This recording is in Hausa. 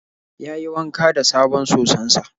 Yayi wanka da sabon soson sa.